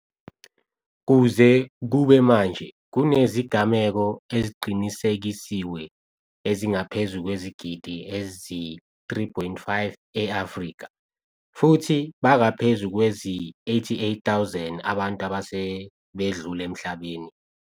Kuze kube manje kunezigameko eziqinisekisiwe ezingaphezu kwezigidi ezi-3.5 e-Afrika, futhi bangaphezu kwezi88 000 abantu asebedlule emhlabeni.